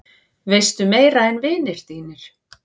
Veistu meira en vinir þínir?